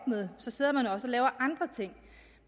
med sidder man også og laver andre ting